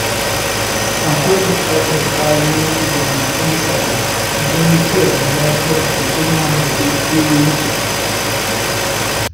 Akwai buƙatar karin jami’an tsaro don kiyaye lafiyar al’umma da dukiyoyinsu.